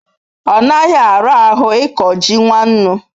onaghi arahu iko ji nwannu